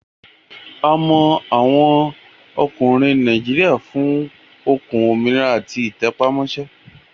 A mọ àwọn ọkùnrin Nàìjíríà fún okun, òmìnira àti ìtẹpámọ́ṣẹ́